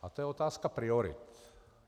A to je otázka priorit.